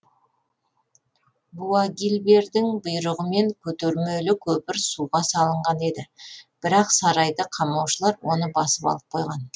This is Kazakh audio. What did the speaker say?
буагильбердің бұйрығымен көтермелі көпір суға салынған еді бірақ сарайды қамаушылар оны басып алып қойған